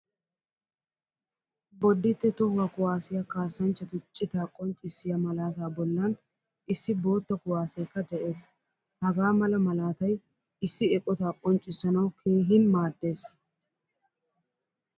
Bodite tohuwaa kuwasiyaa kasanchchatu cita qonccisiya malaata bollan issi boottaa kuwasekka de'ees. Hagaa mala malaatay issi eqqotta qonccisanawu keehin maaddees.